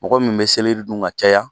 Mɔgɔ min bɛ selɛri dun ka caya